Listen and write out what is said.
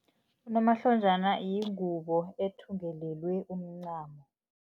Unomahlonjana yingubo ethungelelwe umncamo.